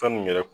Fɛn mun yɛrɛ